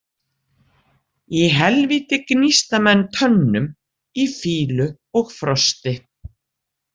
Í helvíti gnísta menn tönnum „í fýlu og frosti“